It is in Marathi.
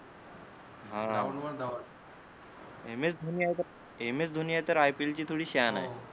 हा एम एस धोनी आहे तर एम एस धोनी आहे तर आय पी एल ची थोडी शान आहे